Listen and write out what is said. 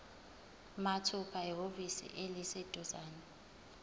mathupha ehhovisi eliseduzane